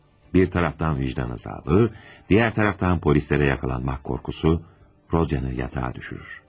Bir taraftan vicdan azabı, diğer taraftan polislere yakalanmak korkusu, Rodyan'ı yatağa düşürür.